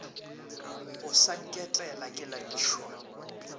o sa nketela ke lapišwa